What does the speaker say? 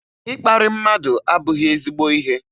Ịkparị mmadụ abụghị ezigbo ihe